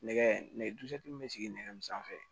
Nɛgɛ dusu min bɛ sigi nɛgɛ min sanfɛ